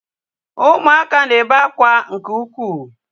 Ụmụaka na-ebe akwa nke ukwuu